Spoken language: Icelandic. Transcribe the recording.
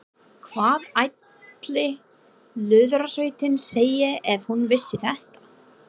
Hvað ætli Lúðrasveitin segði ef hún vissi þetta?